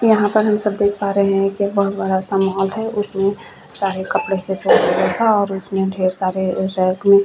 यहाँ पर हम सब देख पा रहे है कि बहुत बड़ा सा मॉल है उसमे सारे कपड़े और उसमे ढ़ेर सारे रैक में--